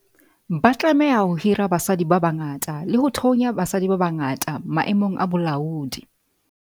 Ba tlameha ho hira basadi ba bangata le ho thonya basadi ba bangata maemong a bolaodi.